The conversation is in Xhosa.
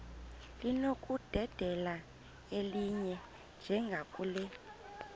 linokudedela elinye njengakule